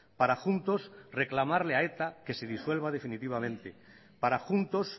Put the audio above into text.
para juntos reclamarle a eta que se disuelva definitivamente para juntos